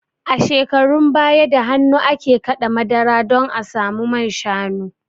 A shekarun baya da hannu ake kaɗa madara don a samu manshanu